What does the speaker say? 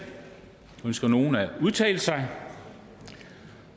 ønsker nogen at udtale sig